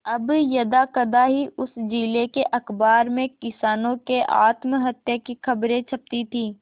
अब यदाकदा ही उस जिले के अखबार में किसानों के आत्महत्या की खबरें छपती थी